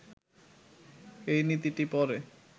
এই নীতিটি পরে